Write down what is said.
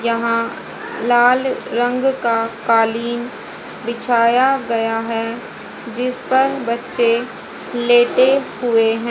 यहां लाल रंग का कालीन बिछाया गया है जिस पर बच्चे लेटे हुए है।